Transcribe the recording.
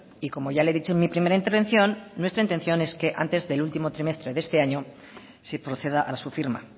y como ya le he dicho en mi primera intervención nuestra intención es que antes del último trimestre de este año se proceda a su firma